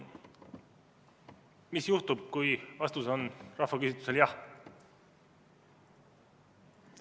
Mis juhtub, kui vastus rahvaküsitlusel on jah?